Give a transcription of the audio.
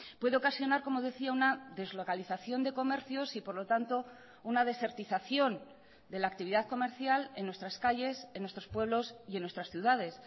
puede ocasionar como decía una deslocalización de comercios y por lo tanto una desertización de la actividad comercial en nuestras calles en nuestros pueblos y en nuestras ciudades